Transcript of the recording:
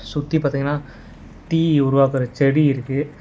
சுத்தி பாத்தீங்கன்னா டீ உருவாக்குற செடி இருக்கு.